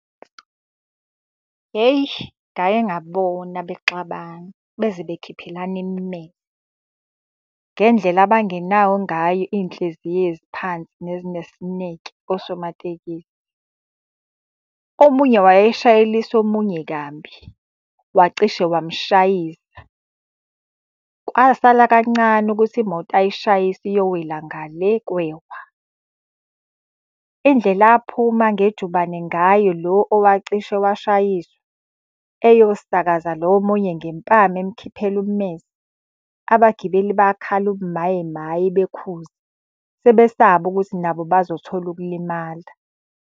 Hheyi ngake ngabona bexabana beze bekhiphelana . Ngendlela abangenawo ngayo iy'nhliziyo eziphansi nezinesineke osomatekisi. Omunye wayeshayelisa omunye kabi wacishe wamushayisa. Kwasala kancane ukuthi imoto ayishayise iyowela nga le kwewa. Indlela aphuma ngejubane ngayo lo owacishe washayiswa, eyosakaza lo omunye ngempama emukhiphela ummese. Abagibeli bakhala ubumaye maye bekhuza, sebesaba ukuthi nabo bazothola ukulimala.